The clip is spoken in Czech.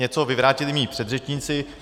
Něco vyvrátili mí předřečníci.